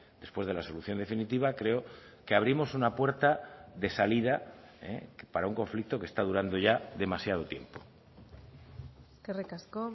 después de la solución definitiva creo que abrimos una puerta de salida para un conflicto que está durando ya demasiado tiempo eskerrik asko